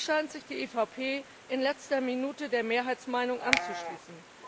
Hier scheint sich die EVP in letzter Minute der Mehrheitsmeinung anzuschließen.